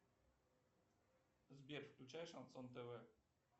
сбер включай шансон тв